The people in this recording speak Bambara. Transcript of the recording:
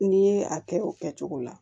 N'i ye a kɛ o kɛcogo la